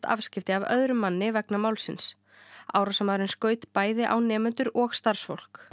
afskipti af öðrum manni vegna málsins árásarmaðurinn skaut bæði á nemendur og starfsfólk